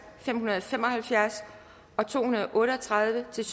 fem hundrede og fem og halvfjerds og to hundrede og otte og tredive til